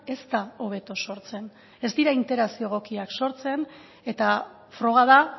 ez da hobeto sortzen ez dira interakzioak egokiak sortzen eta froga da